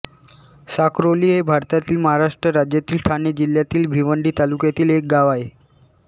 साखरोली हे भारतातील महाराष्ट्र राज्यातील ठाणे जिल्ह्यातील भिवंडी तालुक्यातील एक गाव आहे